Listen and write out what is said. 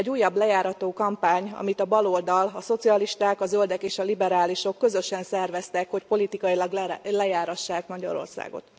Egy újabb lejárató kampány, amit a baloldal, a szocialisták, a zöldek és a liberálisok közösen szerveztek, hogy politikailag lejárassák Magyarországot.